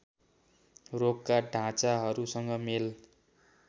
रोगका ढाँचाहरूसँग मेल